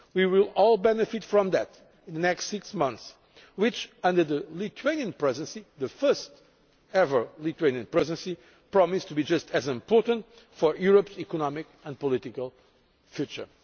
We will all benefit from that in the next six months which, under the Lithuanian Presidency the first ever Lithuanian Presidency promise to be just as important for Europe's economic and political future.